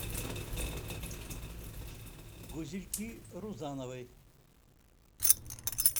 гузельки рузановой